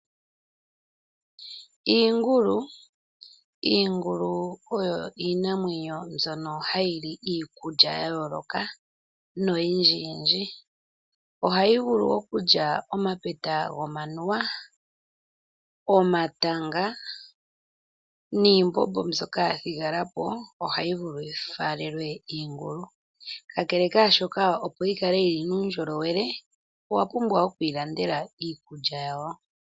Iingulu oyo iinamwenyo mbyono ha yi li iikulya ya yooloka, no yindji yindji. Oha yi vulu okulya oma tanga gomanuwa, oma tanga, niimbombo yathigalapo oha yi vulu yi faalelwe iingulu. Opo nduno yi kale yina uundjolowele, owa pumbwa oku yi landela iikulya yawo.